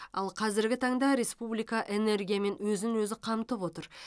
ал қазіргі таңда республика энергиямен өзін өзі қамтып отыр